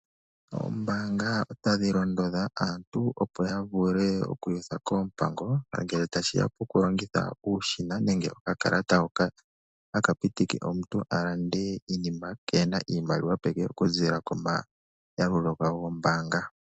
Oombaanga otadhi londodha aantu opo ya vule oku iyutha koompango ngele tashi ya poku longitha uushina nenge okakalata hoka haka pitike omuntu a lande iinima kee hena iimaliwa peke oku ziilila komayalulo ge gombaanga.